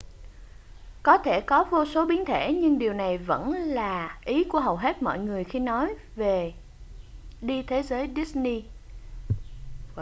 có thể có vô số biến thể nhưng điều này vẫn là ý của hầu hết mọi người khi họ nói về đi thế giới disney